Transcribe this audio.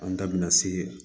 An da bina se